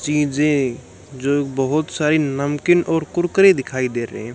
चीजे जो बहोत सारी नमकीन और कुरकुरे दिखाई दे रहे हैं।